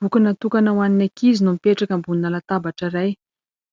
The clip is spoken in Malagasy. Boky natokana ho an'ny ankizy no mipetraka ambonina latabatra iray.